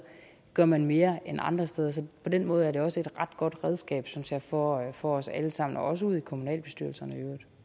gør man mere end andre steder så på den måde er det også et ret godt redskab synes jeg for jeg for os alle sammen og også ude i kommunalbestyrelserne